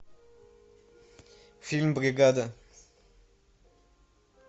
фильм бригада